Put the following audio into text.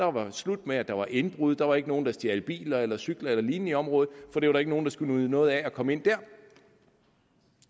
var slut med at der var indbrud der var ikke nogen der stjal biler eller cykler eller lignende i området for der var ikke nogen der skulle nyde noget af at komme ind der